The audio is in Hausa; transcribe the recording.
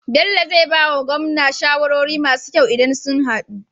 Bello zai bawa gwamna shawarori masu kyau idan sun hadu